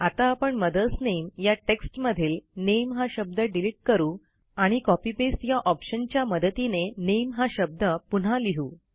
आता आपण मदर्स नामे या टेक्स्ट मधील नामे हा शब्द डिलिट करू आणि कॉपी पेस्ट या ऑप्शनच्या मदतीने नामे हा शब्द पुन्हा लिहू